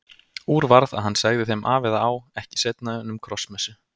Úr varð að hann segði þeim af eða á ekki seinna en um Krossmessu.